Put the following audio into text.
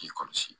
K'i kɔlɔsi